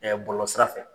bɔlɔlɔ sira fɛ